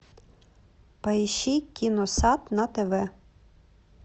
поищи киносат на тв